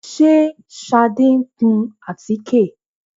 Ṣé Ṣadé ń kun àtíkè?